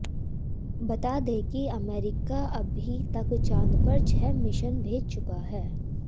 बता दें कि अमेरिका अभी तक चांद पर छह मिशन भेज चुका है